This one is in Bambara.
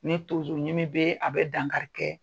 Ni tonsoɲimi bɛ, a bɛ dankari kɛ